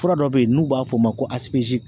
Fura dɔ bɛ yen n'u b'a fɔ o ma ko